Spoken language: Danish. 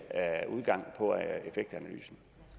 udgang